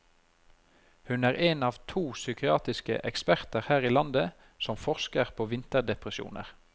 Hun er en av to psykiatriske eksperter her i landet som forsker på vinterdepresjoner.